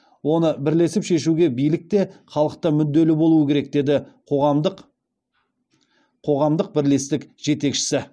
оны бірлесіп шешуге билік те халық та мүдделі болуы керек деді қоғамдық бірлестік жетекшісі